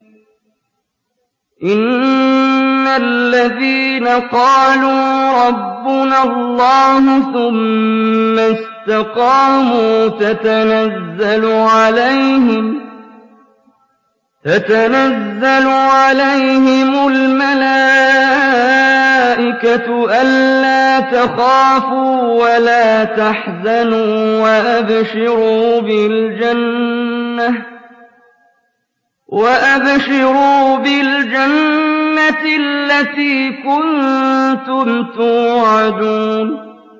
إِنَّ الَّذِينَ قَالُوا رَبُّنَا اللَّهُ ثُمَّ اسْتَقَامُوا تَتَنَزَّلُ عَلَيْهِمُ الْمَلَائِكَةُ أَلَّا تَخَافُوا وَلَا تَحْزَنُوا وَأَبْشِرُوا بِالْجَنَّةِ الَّتِي كُنتُمْ تُوعَدُونَ